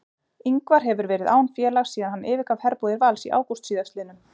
Ingvar hefur verið án félags síðan hann yfirgaf herbúðir Vals í ágúst síðastliðnum.